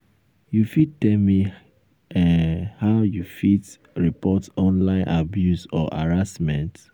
you fit tell me um how you um fit report online abuse or harassment?